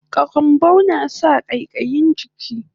Karambau nasa ƙaiƙayin jiki